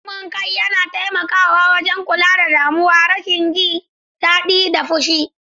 Kamun kai yana taimakawa wajen kula da damuwa, rashin jin daɗi, da fushi.